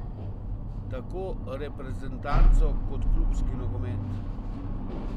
Tako reprezentanco, kot klubski nogomet.